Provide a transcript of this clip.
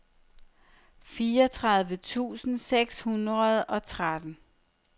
fireogtredive tusind seks hundrede og tretten